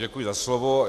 Děkuji za slovo.